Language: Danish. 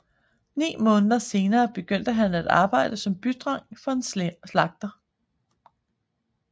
Ni måneder senere begyndte han at arbejde som bydreng for en slagter